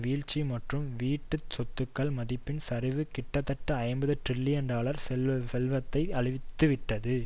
வீழ்ச்சி மற்றும் வீட்டு சொத்துக்கள் மதிப்பின் சரிவு கிட்டத்தட்ட ஐம்பது டிரில்லியன் டாலர் செல்வத்தை அழித்துவிட்டது